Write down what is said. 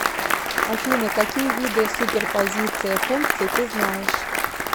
афина какие виды суперпозиция функций ты знаешь